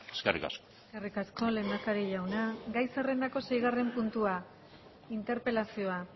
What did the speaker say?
eskerrik asko eskerrik asko lehendakari jauna gai zerrendako seigarren puntua interpelazioa